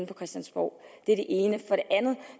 på christiansborg det er det ene